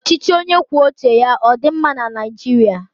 Ọchịchị onye kwuo uche ya ọ dị mma na Naijiria?